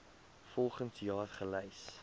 volgens jaar gelys